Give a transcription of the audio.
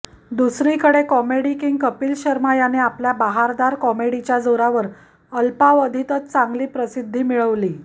दुसरीकडे comedy king Kapil Sharma याने आपल्या बहारदार कॉमेडीच्या जोरावर अल्पावधीतच चांगली प्रसिद्धी मिळवली